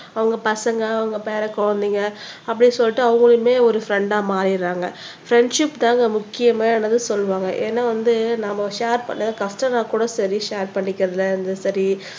அவங்க பசங்க உங்க பேர குழந்தைங்க அப்படி சொல்லிட்டு அவங்களுமே ஒரு ஃரண்டா மாறிடுறாங்க ஃப்ரெண்ட்ஷிப் தாங்க முக்கியமானதுன்னு சொல்லுவாங்க ஏன்னா வந்து நாம ஷேர் பண்ண கஷ்டம்ன்னா கூட சரி ஷேர் பண்ணிக்குறதுல சரி